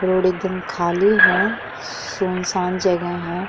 Road एकदम खाली हैं सुनसान जगह है।